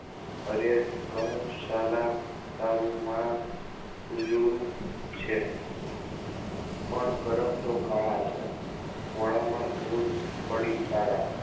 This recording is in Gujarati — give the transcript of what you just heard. અરે કહું સાલા તારું માં ઉજળું છે પણ કરમ તો કાળા છે ધોળા માં ધૂળ પડી તારા